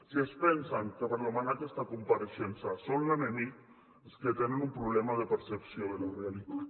si es pensen que per demanar aquesta compareixença són l’enemic és que tenen un problema de percepció de la realitat